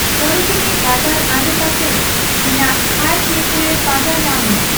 ᱥᱳᱨᱳᱡᱤᱱᱤ ᱵᱟᱡᱟᱨ ᱟᱰᱮ ᱯᱟᱥᱮ ᱨᱮ ᱤᱧᱟᱹᱜ ᱛᱷᱟᱭ ᱴᱮᱠᱳᱭᱮ ᱯᱟᱸᱡᱟ ᱧᱟᱢ ᱢᱮ ᱾